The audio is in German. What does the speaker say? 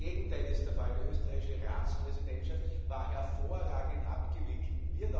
Das Gegenteil ist der Fall Die österreichische Ratspräsidentschaft war hervorragend abgewickelt